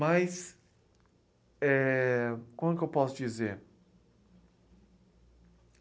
Mas é... como é que eu posso dizer?